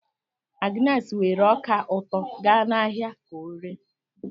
Agnes weere ọka ụtọ ga n'ahịa ka oree.